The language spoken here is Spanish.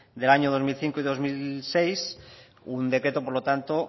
del año dos mil cinco y dos mil seis un decreto por lo tanto